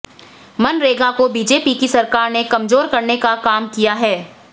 मनरेगा को बीजेपी की सरकार ने कमजोर करने का काम किया है